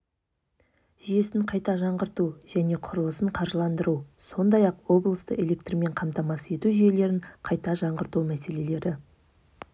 жүйесін қайта жаңғырту және құрылысын қаржыландыру сондай-ақ облысты электрмен қамтамасыз ету жүйелерін қайта жаңғырту мәселелері